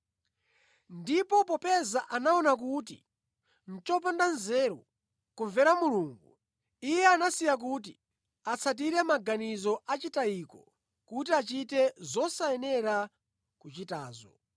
Ndipo popeza anaona kuti nʼchopanda nzeru kumvera Mulungu, Iye anawasiya kuti atsatire maganizo achitayiko kuti achite zosayenera kuchitazo.